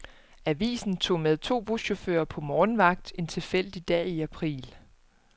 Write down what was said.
Avisen tog med to buschauffører på morgenvagt en tilfældig dag i april.